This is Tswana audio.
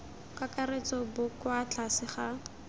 kakaretso bo kwa tlase ga